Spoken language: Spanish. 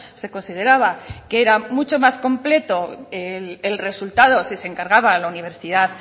se consideraba que era mucho más completo el resultado si se encargaba a la universidad